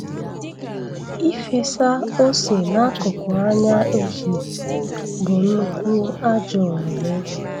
Ịfesa ose n'akụkụ anya ehi bụ nnukwu ajọ omume